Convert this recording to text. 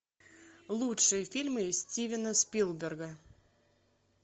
лучшие фильмы стивена спилберга